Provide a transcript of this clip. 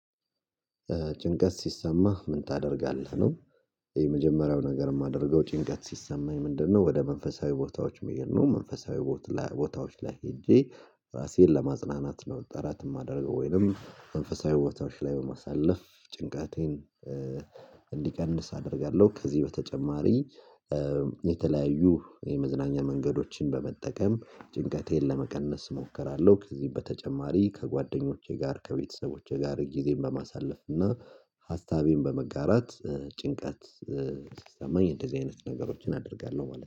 ጭንቀት ሲሰማ ምን ታደርጋለህ ነው? የመጀመሪያው ነገር የማደርገው ጭንቀት ሲሰማኝ ምንድነው ወደ መንፈሳዊ ቦታዎች መየን ነው? መንፈሳዊ ቦታዎች ላይ ሄጄ ራሴን ለማጽናናት ነው። ጠራት የማደርገው ወይንም መንፈሳዊ ቦታዎች ላይ በማሳለፍ ጭንቃቴን እንዲቀንስ አደርጋለሁ። ከዚህ በተጨማሪ የተለያዩ የመዝናኛ መንገዶችን በመጠቀም ጭንቀቴን ለመቀነስ እሞክራለሁ። ከዚህ በተጨማሪ ከጓደኞቼ ጋር ከቤተሰቦቼ ጋር ጊዜን በማሳለፍ እና ሀሳቤን በመጋራት ጭንቀት ሲሰማኝ እንደዚህ አይነት ነገሮችን አደርጋለሁ። ማለት ነው